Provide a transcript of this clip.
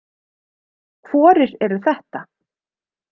Hvorir eru þetta?